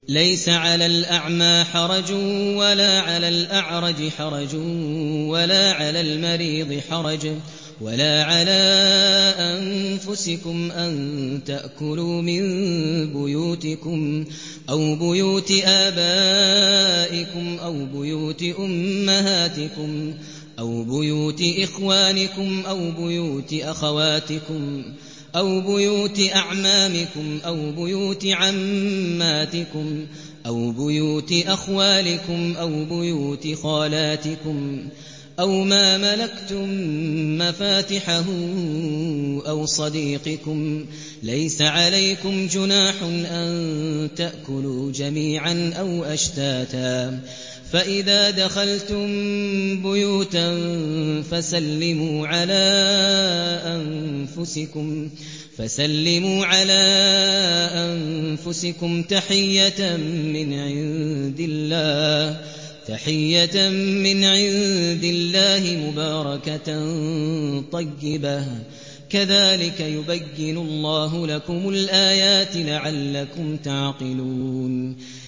لَّيْسَ عَلَى الْأَعْمَىٰ حَرَجٌ وَلَا عَلَى الْأَعْرَجِ حَرَجٌ وَلَا عَلَى الْمَرِيضِ حَرَجٌ وَلَا عَلَىٰ أَنفُسِكُمْ أَن تَأْكُلُوا مِن بُيُوتِكُمْ أَوْ بُيُوتِ آبَائِكُمْ أَوْ بُيُوتِ أُمَّهَاتِكُمْ أَوْ بُيُوتِ إِخْوَانِكُمْ أَوْ بُيُوتِ أَخَوَاتِكُمْ أَوْ بُيُوتِ أَعْمَامِكُمْ أَوْ بُيُوتِ عَمَّاتِكُمْ أَوْ بُيُوتِ أَخْوَالِكُمْ أَوْ بُيُوتِ خَالَاتِكُمْ أَوْ مَا مَلَكْتُم مَّفَاتِحَهُ أَوْ صَدِيقِكُمْ ۚ لَيْسَ عَلَيْكُمْ جُنَاحٌ أَن تَأْكُلُوا جَمِيعًا أَوْ أَشْتَاتًا ۚ فَإِذَا دَخَلْتُم بُيُوتًا فَسَلِّمُوا عَلَىٰ أَنفُسِكُمْ تَحِيَّةً مِّنْ عِندِ اللَّهِ مُبَارَكَةً طَيِّبَةً ۚ كَذَٰلِكَ يُبَيِّنُ اللَّهُ لَكُمُ الْآيَاتِ لَعَلَّكُمْ تَعْقِلُونَ